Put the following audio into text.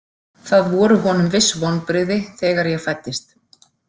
Það voru honum viss vonbrigði þegar ég fæddist.